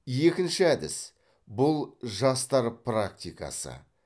екінші әдіс бұл жастар практикасы